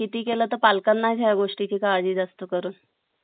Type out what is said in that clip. किती केला तर पालकांना ह्य गोष्टी ची काळजी जास्त करून